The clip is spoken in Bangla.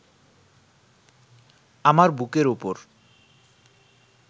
আমার বুকের ওপর